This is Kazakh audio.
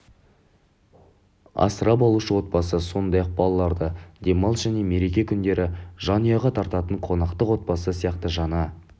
асырап алушы отбасы сондай-ақ балаларды демалыс және мереке қүндері жанұяға тартатын қонақтық отбасы сияқты жаңа